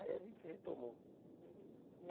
Aí a gente retomou.